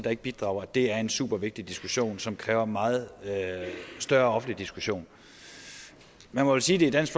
og ikke bidrager er en super vigtig diskussion som kræver meget større offentlig diskussion man må vel sige det er dansk